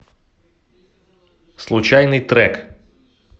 случайный трек